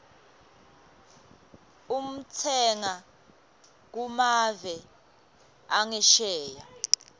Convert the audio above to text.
utsenga kumave angesheya